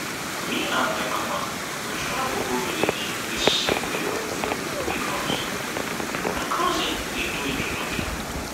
me and my mama go travel go village dis septemeber because my cousin dey do introduction